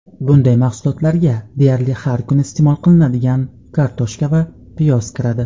bunday mahsulotlarga deyarli har kuni iste’mol qilinadigan kartoshka va piyoz kiradi.